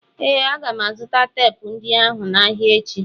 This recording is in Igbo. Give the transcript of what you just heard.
Ee, M ga-azụta teepu ndị ahụ n'ahịa echi.